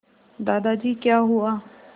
दादाजी क्या हुआ